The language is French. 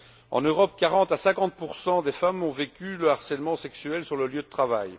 En Europe, 40 à 50 des femmes ont vécu le harcèlement sexuel sur le lieu de travail.